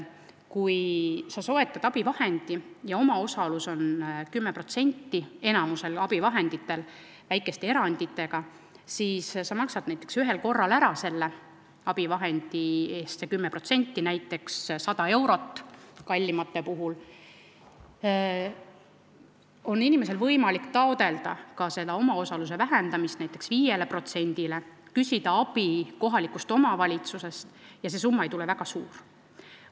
Kui sa soetad abivahendi ja omaosalus on 10% nagu on enamiku abivahendite puhul, väikeste eranditega, siis sa maksad ära selle 10%, näiteks kallima abivahendi puhul 100 eurot, ning sul on võimalik taotleda ka omaosaluse vähendamist näiteks 5%-le ja küsida abi kohalikust omavalitsusest ning see summa ei tule väga suur.